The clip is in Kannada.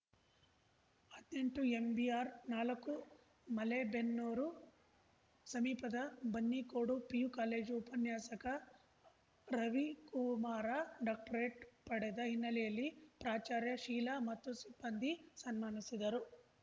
ಹದ್ನೆಂಟುಎಂಬಿಆರ್ ನಾಲಕ್ಕು ಮಲೇಬೆನ್ನೂರು ಸಮೀಪದ ಬನ್ನಿಕೋಡು ಪಿಯು ಕಾಲೇಜು ಉಪನ್ಯಾಸಕ ರವಿಕುರ್ಮಾರ ಡಾಕ್ಟರೇಟ್‌ ಪಡೆದ ಹಿನ್ನೆಲೆಯಲ್ಲಿ ಪ್ರಾಚಾರ್ಯ ಶೀಲಾ ಮತ್ತು ಸಿಬ್ಬಂದಿ ಸನ್ಮಾನಿಸಿದರು